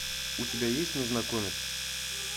у тебя есть незнакомец